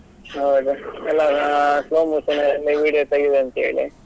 ಹೌದು ಎಲ್ಲರೂ slow motion ಅಲ್ಲಿ video ತೆಗಿಯುವ ಅಂತೇಳಿ?